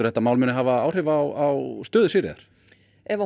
þetta mál muni hafa áhrif á stöðu Sigríðar nei ef